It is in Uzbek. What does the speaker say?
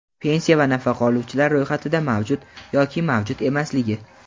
pensiya va nafaqa oluvchilar ro‘yxatida mavjud yoki mavjud emasligi;.